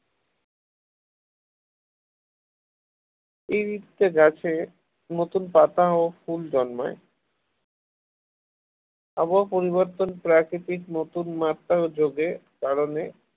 এই ঋতুতে গাছে নতুন পাতা ও ফুল জন্মায় আবহাওয়া পরিবর্তন প্রাকৃতিক নতুন মাত্রায় ও যোগে কারণে